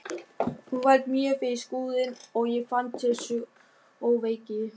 Hún valt mjög fyrir Skrúðinn og ég fann til sjóveiki.